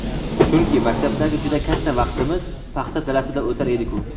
chunki maktabdagi juda katta vaqtimiz paxta dalasida o‘tar edi-ku.